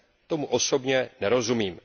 Tomu osobně nerozumím.